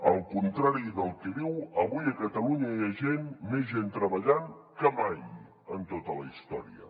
al contrari del que diu avui a catalunya hi ha més gent treballant que mai en tota la història